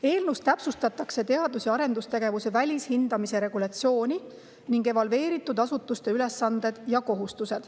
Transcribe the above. Eelnõus täpsustatakse teadus‑ ja arendustegevuse välishindamise regulatsiooni ning evalveeritud asutuste ülesandeid ja kohustusi.